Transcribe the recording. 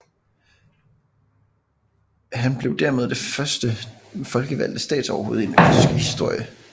Han blev dermed det første folkevalgte statsoverhoved i den østrigske historie